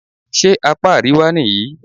Ṣé apá àríwá nìyí?